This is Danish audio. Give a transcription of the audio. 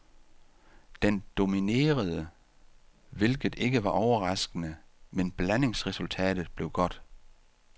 Den dominerede, hvilket ikke var overraskende, men blandingsresultatet blev godt.